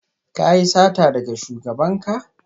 Ka yi sata daga shugabanka?